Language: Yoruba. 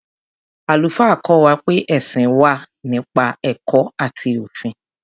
Àlùfáà kọ́ wa pé ẹ̀sìn wà nípa ẹ̀kọ́ àti òfin.